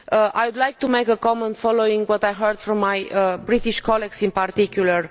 I would like to make a comment following what I heard from my British colleagues in particular.